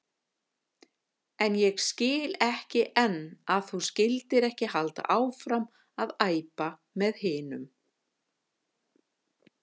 En ég skil ekki enn að þú skyldir ekki halda áfram að æpa með hinum.